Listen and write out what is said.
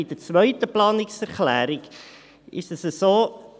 Bei der zweiten Planungserklärung ist es so: